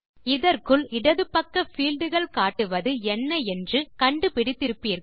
இதற்குள் இடது பக்க பீல்ட் கள் காட்டுவது என்ன என்று கண்டு பிடித்திருப்பீர்கள்